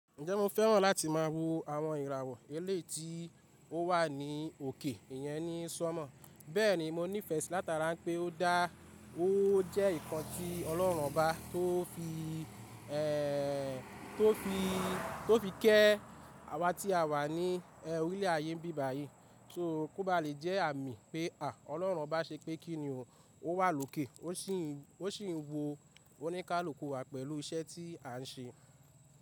Ǹjẹ́ mo fẹ́ràn láti má a wo àwọn ìràwọ̀ eleyi tii ó wà ní òkè? Ìyẹn ni sọnmọ. Bẹ́ẹ̀ ni mo nífẹ̀ẹ́ sí látara pé ó dá, ó jẹ́ nǹkan tí Ọlọ́run bá tó fi, tó fi, tó fi kẹ́ awa tí a wà ní orílẹ̀ ayé bíbàyí. So kó ba lè jẹ́ àmì pé, à, Ọlọ́run bá ṣe pé kí ni ó wà lókè ó sì ń, ó sì ń wo oníkálukú wa pẹ̀lú iṣẹ́ tí à ń ṣe.